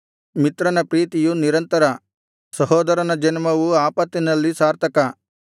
ಮಿತ್ರನ ಪ್ರೀತಿಯು ನಿರಂತರ ಸಹೋದರನ ಜನ್ಮವು ಆಪತ್ತಿನಲ್ಲಿ ಸಾರ್ಥಕ